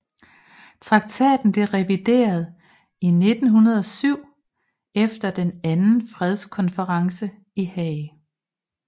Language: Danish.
Traktaten blev revideret i 1907 efter den anden fredskonferencen i Haag